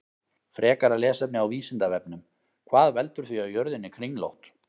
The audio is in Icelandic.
Frekara lesefni á Vísindavefnum: Hvað veldur því að jörðin er kringlótt?